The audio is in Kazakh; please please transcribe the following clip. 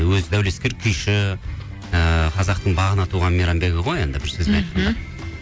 өзі дәулескер күйші ыыы қазақтың бағына туған мейрамбегі ғой енді бір сөзбен айтқанда